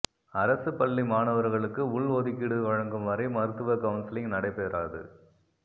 அரசு பள்ளி மாணவர்களுக்கு உள் ஒதுக்கீடு வழங்கும் வரை மருத்துவ கவுன்சிலிங் நடைபெறாது